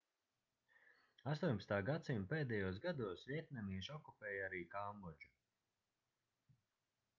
18. gs pēdējos gados vjetnamieši okupēja arī kambodžu